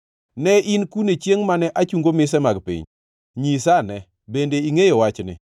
“Ne in kune chiengʼ mane achungo mise mag piny? Nyisa ane, bende ingʼeyo wachni!